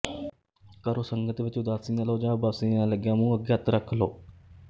ਕਰੋ ਸੰਗਤ ਵਿੱਚ ਉਦਾਸੀ ਨਾ ਲਵੋ ਜਾਂ ਉਬਾਸੀ ਲੈਣ ਲੱਗਿਆ ਮੂੰਹ ਅੱਗੇ ਹੱਥ ਰੱਖ ਲੋਵ